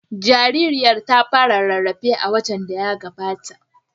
Jaririyar ta fara rarrafe a watan da ya gabata.